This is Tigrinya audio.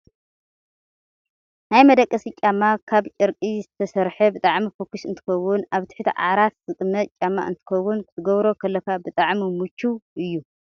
ናይ መደቀሲ ጫማ ካብ ጨርቂ ዝተሰረሓ ብጣዕሚ ፎኪስ እንትከውን ኣብ ትሕቲ ዓራት ዝቅመጥ ጫማ እንትከውን፣ ክትገብሮ ከለካ ብጣዕሚ ምቹው እዩ።